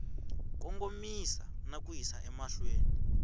kongomisa na ku yisa emahlweni